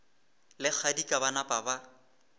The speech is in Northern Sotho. le kgadika ba napa ba